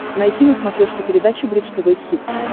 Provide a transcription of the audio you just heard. найти на смотрешке передачу бридж тв хитс